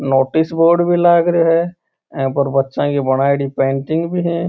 Notice board भी लाग रहो है अ पर बच्चो की बनायेड़ी पेंटिंग भी है।